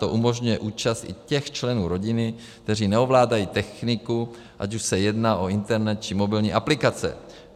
To umožňuje účast i těch členů rodiny, kteří neovládají techniku, ať už se jedná o internet, či mobilní aplikace.